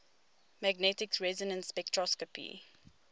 magnetic resonance spectroscopy